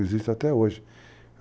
Existe até hoje.